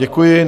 Děkuji.